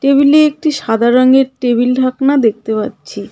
টেবিলে একটি সাদা রঙের টেবিল-ঢাকনা দেখতে পাচ্ছি.